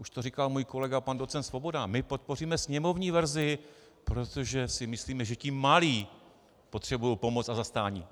Už to říkal můj kolega pan docent Svoboda: My podpoříme sněmovní verzi, protože si myslíme, že ti malí potřebují pomoc a zastání.